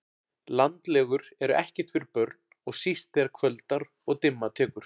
Landlegur eru ekkert fyrir börn og síst þegar kvöldar og dimma tekur